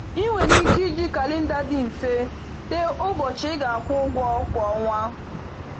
Ị nwere ike iji kalenda dị mfe tee ụbọchị ị ga-akwụ ụgwọ kwa ọnwa.